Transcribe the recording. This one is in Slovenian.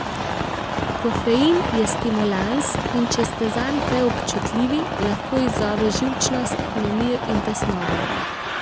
Kofein je stimulans, in če ste zanj preobčutljivi, lahko izzove živčnost, nemir in tesnobo.